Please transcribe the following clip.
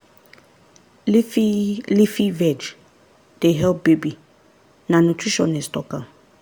leafy leafy veg dey help baby na nutritionist talk am.